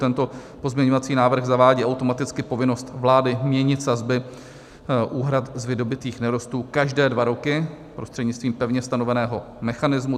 Tento pozměňovací návrh zavádí automaticky povinnost vlády měnit sazby úhrad z vydobytých nerostů každé dva roky prostřednictvím pevně stanoveného mechanismu.